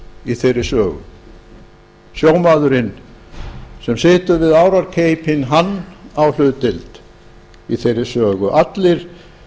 í þeirri sögu sjómaðurinn sem situr við árarkeipinn hann á þar hlutdeild allir